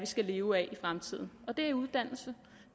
skal leve af i fremtiden det er uddannelse